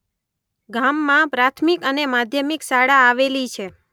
ગામમાં પ્રાથમિક અને માધ્યમિક શાળા આવેલી છે.